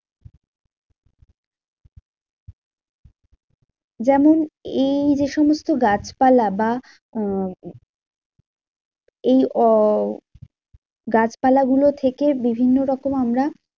যেমন এই যেসমস্ত গাছপালা বা আহ এই আহ গাছপালাগুলো থেকে বিভিন্ন রকম আমরা